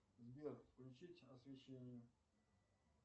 сбер включить освещение